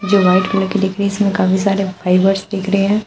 ये white colour के दिख रही इसमे काफी सारे फाइबर्स दिख रहे हैं।